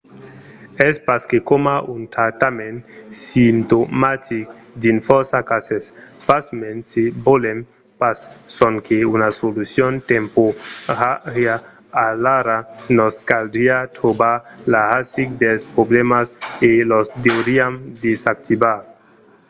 es pas que coma un tractament simptomatic dins fòrça cases. pasmens se volèm pas sonque una solucion temporària alara nos caldriá trobar la rasic dels problèmas e los deuriam desactivar